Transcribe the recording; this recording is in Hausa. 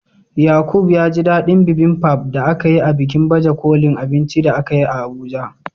Yaqub ya ji dadin Bibimbap da aka yi a bikin baje kolin abinci da akayi a Abuja.